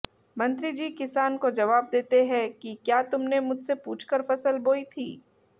मंत्री जी किसान को जवाब देते है की क्या तुमने मुझसे पूछकर फसल बोई थी